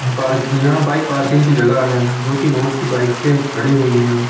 पार यहां bike parking parking की जगह है जो कि बहोत सी बाइकें खड़ी हुईं हैं।